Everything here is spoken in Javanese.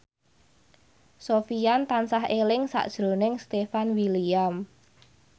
Sofyan tansah eling sakjroning Stefan William